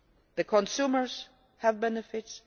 The consumers have benefits